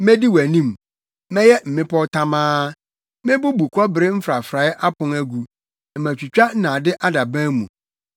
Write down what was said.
Medi wʼanim mɛyɛ mmepɔw tamaa; mebubu kɔbere mfrafrae apon agu na matwitwa nnade adaban mu.